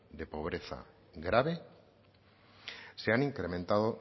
de pobreza grave se han incrementado